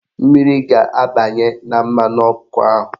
Mmiri ga-abanye na mmanụ ọkụ ahụ